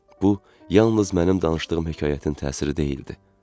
Bu yalnız mənim danışdığım hekayətin təsiri deyildi.